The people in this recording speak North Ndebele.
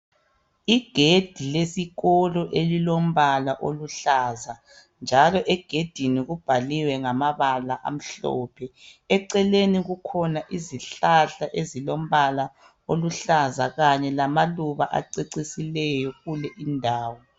Igedi lesikolo elilombala oluhlaza njalo egedini kubhaliwe ngamabala amhlophe eceleni kukhona izihlahla ezilombala oluhlaza kanye lamaluba acecisileyo kule indawo.